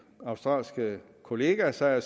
australske kolleger sig og